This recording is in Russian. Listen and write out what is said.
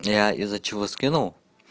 я из-за чего скинул